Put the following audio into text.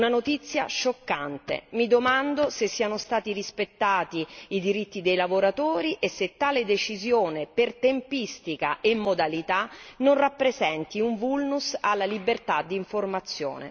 Una notizia scioccante, mi domando se siano stati rispettati i diritti dei lavoratori e se tale decisione per tempistica e modalità non rappresenti un vulnus alla libertà di informazione.